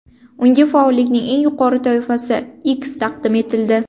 Unga faollikning eng yuqori toifasi X taqdim etildi.